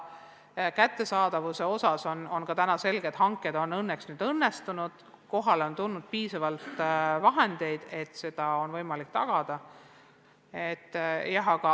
Vahendite kättesaadavuse osas on täna selge, et hanked on õnnestunud, kohale on tulnud piisavalt vahendeid, et seda oleks võimalik tagada.